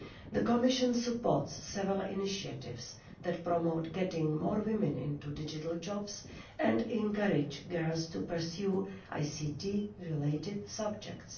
The Commission supports several initiatives that promote getting more women into digital jobs and encourage girls to pursue ICT related subjects.